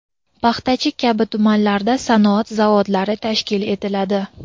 Paxtachi kabi tumanlarda sanoat zonalari tashkil etiladi.